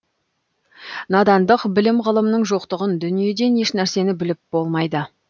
надандық білім ғылымның жоқтығын дүниеден еш нәрсені біліп болмайды